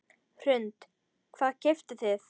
Hrund: Hvað keyptuð þið?